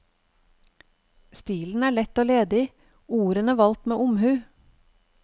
Stilen er lett og ledig, ordene valgt med omhu.